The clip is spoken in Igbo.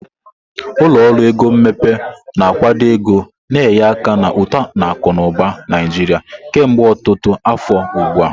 Ụlọ ọrụ ego mmepe na-akwado ego na-enye aka na uto akụ na ụba Naijiria kemgbe ọtụtụ afọ ugbu a.